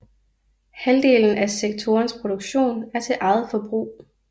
Halvdelen af sektorens produktion er til eget forbrug